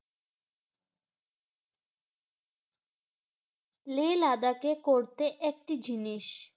লে লাদাকে করতে একটি জিনিস